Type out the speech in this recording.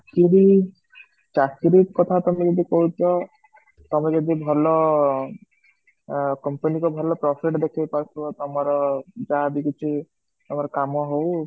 ଚାକିରୀ ଚାକିରୀ କଥା ଯାଦୁ ତମେ କହୁଛ ତମେ ଯଦି ଭଲ କମ୍ପାନୀ କୁ ଭଲ profit ଦେଖେଇ ପାରୁଥିବ ତମର ଯାହାବି କିଛି ତମ କାମ ହୋଉ